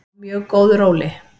Á mjög góðu róli.